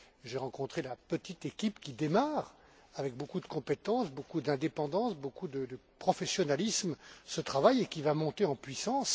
j'y ai rencontré la petite équipe qui démarre ce travail avec beaucoup de compétence, beaucoup d'indépendance, beaucoup de professionnalisme et qui va monter en puissance.